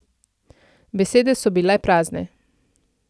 Besede so bile prazne.